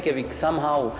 á